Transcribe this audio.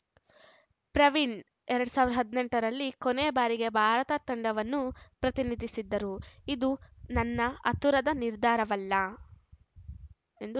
ಪ್ರವೀಣ್‌ ಎರಡ್ ಸಾವಿರ ಹದಿನೆಂಟರಲ್ಲಿ ಕೊನೆ ಬಾರಿಗೆ ಭಾರತ ತಂಡವನ್ನು ಪ್ರತಿನಿಧಿಸಿದ್ದರು ಇದು ನನ್ನ ಆತುರದ ನಿರ್ಧಾರವಲ್ಲ ಎಂದು